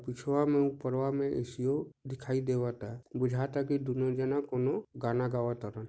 रुसवा में ऊपरवा में ए. सी. ओ दिखाई देवा ता भुजता दोनों जन गा ना गावा ता।